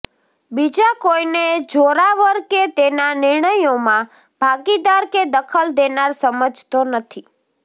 બીજા કોઈને જોરાવર કે તેના નિર્ણયોમાં ભાગીદાર કે દખલ દેનાર સમજતો નથી